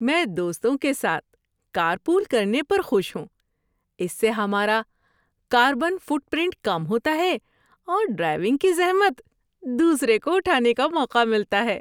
میں دوستوں کے ساتھ کار پول کرنے پر خوش ہوں، اس سے ہمارا کاربن فٹ پرنٹ کم ہوتا ہے اور ڈرائیونگ کی زحمت دوسرے کو اٹھانے کا موقع ملتا ہے۔